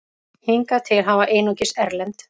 Hingað til hafa einungis erlend